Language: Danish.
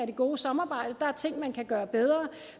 det gode samarbejde der er ting man kan gøre bedre